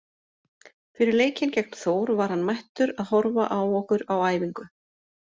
Fyrir leikinn gegn Þór var hann mættur að horfa á okkur á æfingu.